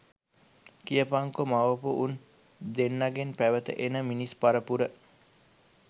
කියපංකො මවපු උන් දෙන්නගෙන් පැවත එන මිනිස් පරපුර